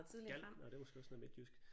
Gal nåh det er måske også noget midtjysk